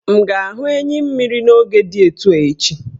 M ga-ahụ enyimmiri n' moge di etu a echi?